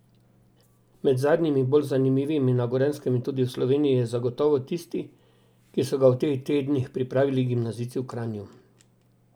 Med zadnjimi, bolj zanimivimi na Gorenjskem in tudi v Sloveniji, je zagotovo tisti, ki so ga v teh tednih pripravili gimnazijci v Kranju.